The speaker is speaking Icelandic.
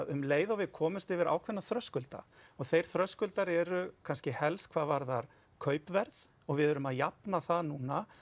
um leið og við komumst yfir ákveðna þröskulda og þeir þröskuldar eru kannski helst hvað varðar kaupverð og við erum að jafna það núna